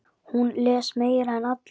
Hún les meira en allir.